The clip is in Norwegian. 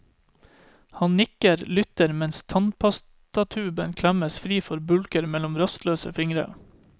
Han nikker, lytter mens tannpastatuben klemmes fri for bulker mellom rastløse fingre.